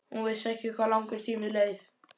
Hún vissi ekki hvað langur tími leið.